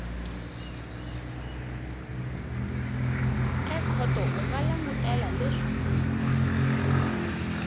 ekhoto u nga langutela leswaku